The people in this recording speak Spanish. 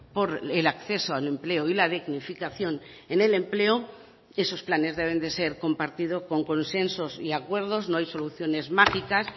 por el acceso al empleo y la dignificación en el empleo esos planes deben de ser compartido con consensos y acuerdos no hay soluciones mágicas